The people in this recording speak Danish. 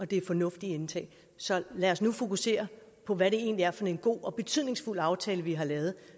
det er fornuftige ting så lad os nu fokusere på hvad det egentlig er for en god og betydningsfuld aftale vi har lavet